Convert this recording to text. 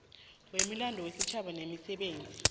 wemilando yesitjhaba nemisebenzi